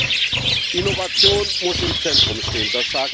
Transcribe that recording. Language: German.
Zweitens Innovation muss im Zentrum stehen.